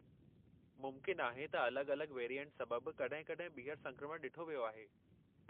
मुमकिन आहे त अलॻि-अलॻि वेरिएंट सबबु कड॒हिं-कड॒हिं ॿीहर संक्रमण ॾिठो वियो आहे।